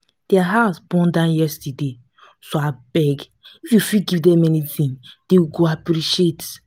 their house born down yesterday so abeg if you fit give dem anything dey go appreciate